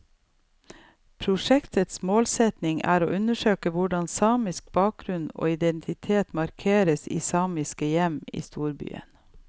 Prosjektets målsetning er å undersøke hvordan samisk bakgrunn og identitet markeres i samiske hjem i storbyen.